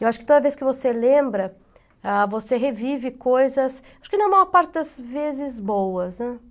Eu acho que toda vez que você lembra, ah, você revive coisas, acho que na maior parte das vezes boas, né?